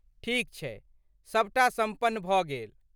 ठीक छै। सभटा सम्पन्न भऽ गेल।